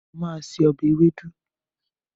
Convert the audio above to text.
Mo ma se ọbẹ̀ ewédú